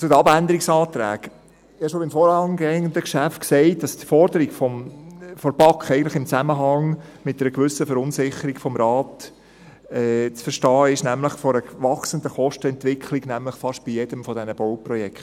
Zu den Abänderungsanträgen: Ich habe schon beim vorangehenden Geschäft gesagt, dass die Forderung der BaK eigentlich im Zusammenhang mit einer gewissen Verunsicherung des Rates zu verstehen ist, nämlich bezüglich einer wachsenden Kostenentwicklung bei fast jedem dieser Bauprojekte.